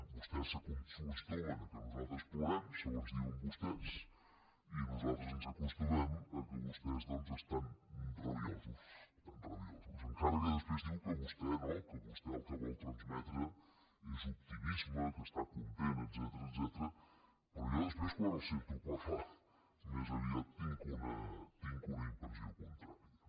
vostès s’acostumen que nosaltres plorem segons diuen vostès i nosaltres ens acostumem que vostès estan rabiosos estan rabiosos encara que després diu que vostè no que vostè el que vol transmetre és optimisme que està content etcètera però jo després quan el sento parlar més aviat tinc una impressió contrària